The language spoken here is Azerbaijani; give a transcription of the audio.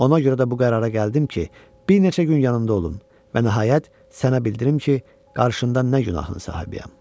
Ona görə də bu qərara gəldim ki, bir neçə gün yanımda olum və nəhayət sənə bildirim ki, qarşında nə günahın sahibiyəm.